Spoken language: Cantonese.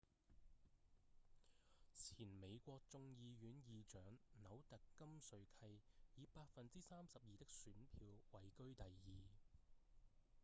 前美國眾議院​議長紐特‧金瑞契以 32% 的選票位居第二